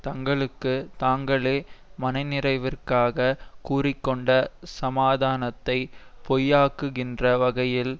தங்களுக்கு தாங்களே மனநிறைவிற்காக கூறி கொண்ட சமாதானத்தை பொய்யாக்குகின்ற வகையில்